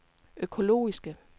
økologiske